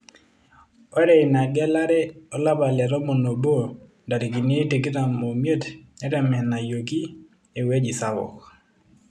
Ore ina gelare olapa letomon obo ntarikini tikitam omiet netemenayioki eweji sapuk.